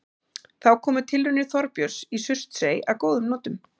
Þá komu tilraunir Þorbjörns í Surtsey að góðum notum.